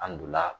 An donna